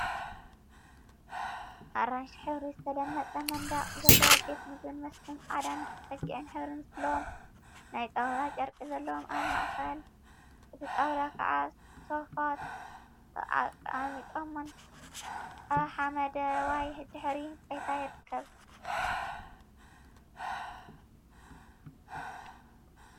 ኣራንሺ ሕብሪ ዝተለመጸ መንድቅ ዘለዎ ቤት ምግብን መስተን ጻዕዳን ደም በጊዕን ሕብሪ ዘለዎም ናይ ጣውላ ጨርቂ ዘለዎምን ኣብ ማእክል እቲ ጣውላ ክዓ ሶፍት ተቀሚጦም ኣብ ሓመደዋይ ድሕረ ባይታይርከቡ።